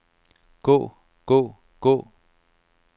gå gå gå